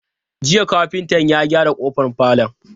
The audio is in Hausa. Jiya kafinta ya gyara kofar falon?